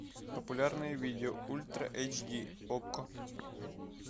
популярные видео ультра эйч ди окко